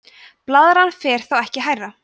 blaðran fer þá ekki hærra